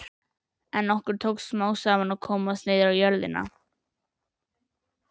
En okkur tókst smám saman að komast niður á jörðina.